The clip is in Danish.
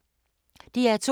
DR2